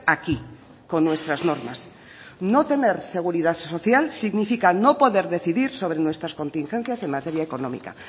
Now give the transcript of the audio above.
aquí con nuestras normas no tener seguridad social significa no poder decidir sobre nuestras contingencias en materia económica